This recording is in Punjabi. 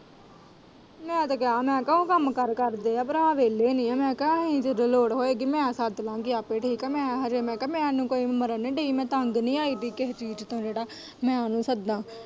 ਮੈਂ ਤੇ ਕਿਹਾ ਮੈਂ ਕਿਹਾ ਉਹ ਕੰਮਕਾਰ ਕਰਦੇ ਏ ਭਰਾ ਵਿਹਲ਼ੇ ਨਹੀਂ ਏ ਮੈਂ ਕਿਹਾ ਅਹੀ ਜਦੋਂ ਲੋੜ ਹੋਏਗੀ ਮੈਂ ਸੱਦ ਲਾ ਗੀ ਆਪੇ ਠੀਕ ਏ ਮੈਂ ਅਜੇ ਮੈਂ ਕਿਹਾ ਮੈਨੂੰ ਹਜੇ ਮਰਨ ਨੀ ਦਈ ਤੰਗ ਨੀ ਆਈ ਦੀ ਕਿਸੇ ਚੀਜ਼ ਤੋਂ ਜਿਹੜਾ ਉਹਨੂੰ ਮੈਂ ਸੱਦਾ।